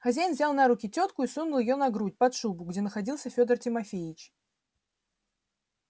хозяин взял на руки тётку и сунул её на грудь под шубу где находился фёдор тимофеич